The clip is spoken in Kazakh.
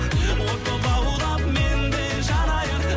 от боп лаулап мен де жанайын